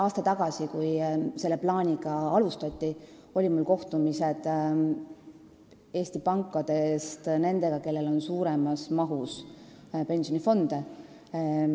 Aasta tagasi, kui see plaan algatati, olid mul kohtumised nende Eesti pankade esindajatega, kellel on suuremas mahus pensionifonde.